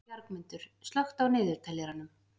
Bjargmundur, slökktu á niðurteljaranum.